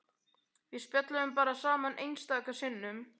Við spjölluðum bara saman einstaka sinnum.